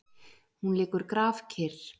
Hún liggur grafkyrr.